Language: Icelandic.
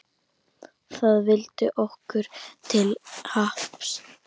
Það vildi okkur til happs.